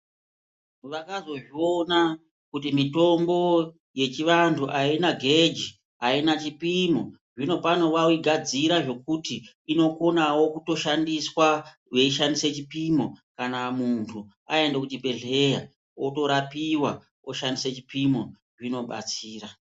Vamazozviona kuti mitombo yechivantu aina geji aina chipimo zvinopano vaigadzira zvekuti inokonawo kutoshandiswa weishandise chipimo kana muntu aende kuchibhedhleya Otorapiwa oshandise chipimo zvinobatsira